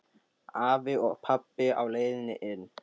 Afi og pabbi á leiðinni inn.